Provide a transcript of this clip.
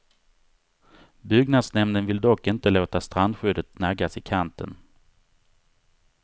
Byggnadsnämnden vill dock inte låta strandskyddet naggas i kanten.